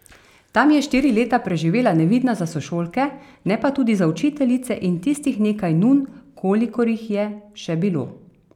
Tam je štiri leta preživela nevidna za sošolke, ne pa tudi za učiteljice in tistih nekaj nun, kolikor jih je še bilo.